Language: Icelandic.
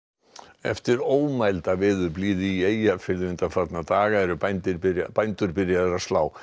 eftir ómælda veðurblíðu í Eyjafirði undanfarna daga eru bændur byrjaðir bændur byrjaðir að slá